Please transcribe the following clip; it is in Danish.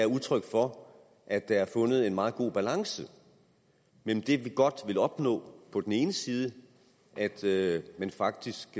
udtryk for at der er fundet en meget god balance mellem det vi godt vil opnå på den ene side altså at man faktisk